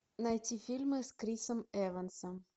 найти фильмы с крисом эвансом